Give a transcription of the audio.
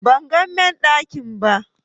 Ban gan main giɗan ki ba,